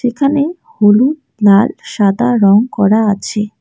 এখানে হলুদ লাল সাদা রঙ করা আছে।